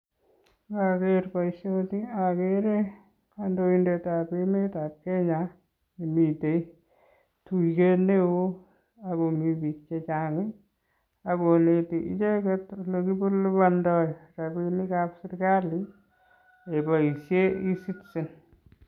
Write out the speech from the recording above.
Noker boishoni okere kondointetab emetab Kenya miten tuyet neoo ak ko mii biik chechang ak konete icheket olekilibondo rabinikab serikali keboishen ecitizen.